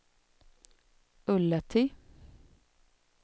Ullatti